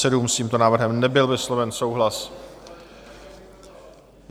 S tímto návrhem nebyl vysloven souhlas.